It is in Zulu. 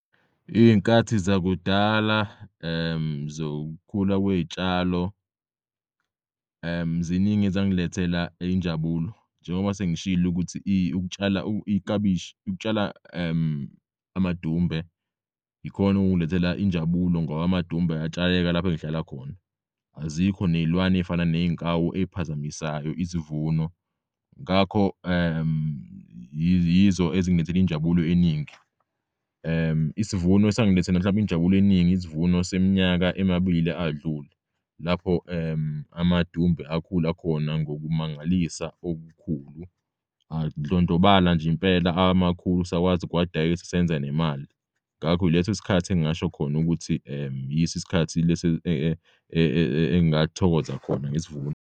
Iy'nkathi zakudala zokukhula kwey'tshalo ziningi ezangilethela injabulo. Njengoba sengishilo ukuthi ukutshala iklabishi ukutshala amadumbe yikhon'okungilethela injabulo ngoba amadumbe ayatshaleka laph'engihlala khona. Azikho ney'lwane ey'fana ney'nkawu eziphazamisayo isivuno. Ngakho yizo ezingilethela injabulo eningi. Isivuno esangilethela mhlawumbe injabulo eningi isivuno seminyaka emabili adlule lapho amadumbe akhula khona ngokumangalisa okukhulu adlondlobala nj'impela amakhulu sakwazi ukuwadayisa senza nemali. Ngakho ileso sikhathi engingasho khona ukuthi yis'isikhathi lesi engathokoza khona ngesivuno.